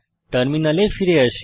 টার্মিনালে ফিরে আসি